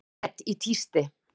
Met í tísti